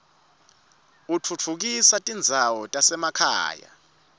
utfutfukisa tindzawo tasemakhaya